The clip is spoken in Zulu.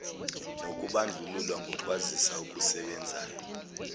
nokubandlululwa ngokwazisa okusebenzayo